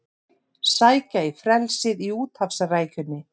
Sækja í frelsið í úthafsrækjunni